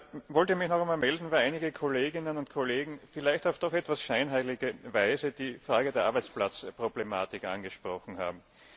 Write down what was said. Ich wollte mich noch einmal melden, weil einige Kolleginnen und Kollegen vielleicht doch auf eine etwas scheinheilige Weise die Frage der Arbeitsplatzproblematik angesprochen haben.